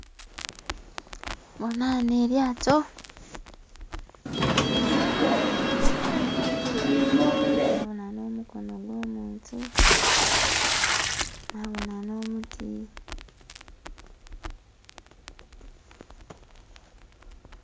Bonha ghanho elyaato nga liri ku maadhi, nabonha n'omukono gw'omuntu, nabonha n'omuti.